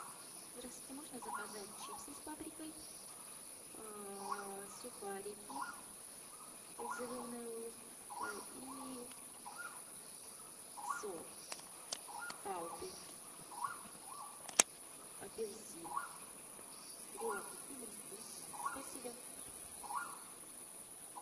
здравствуйте можно заказать чипсы с паприкой сухарики зеленый лук и сок палпи апельсин переулок актюбинский дом семнадцать спасибо